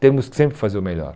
Temos que sempre fazer o melhor.